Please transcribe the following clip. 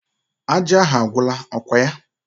Aja ahụ agwụla, ọkwa ya?